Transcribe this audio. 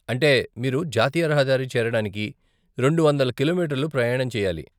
అంటే మీరు జాతీయ రహదారి చేరడానికి రెండు వందల కిలోమీటర్లు ప్రయాణం చెయ్యాలి.